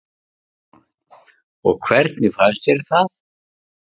Stefán: Og hvernig fannst þér það?